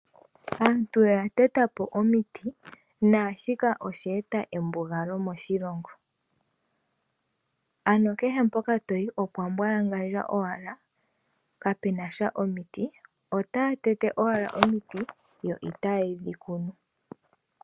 Aantu oya tetapo omiti naashika osheeta embugalo moshilongo, ano kehe mpoka toyi opwa mbwalangandja owala kapenasha omiti otaa tete owala omiti yo itaayedhikunu.